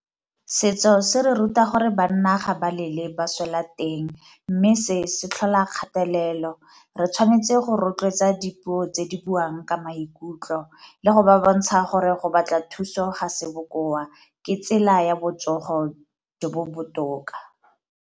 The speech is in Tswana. Setso se re ruta gore banna ga ba lele ba swela teng, mme se se tlhola kgatelelo. Re tshwanetse go rotloetsa dipuo tse di buang ka maikutlo le go ba bontsha gore go batla thuso ga se bokoa ke tsela ya botsogo jo bo botoka.